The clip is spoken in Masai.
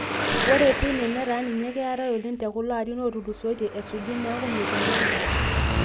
ore teine, netaa ninye keetae oleng te kulo arin oootulusoitie esuja neeku metumi edaa